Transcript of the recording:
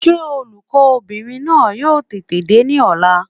Sé olùkó bìnrin náà yóò tètè dé ní ọ̀la?